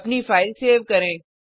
अपनी file save करें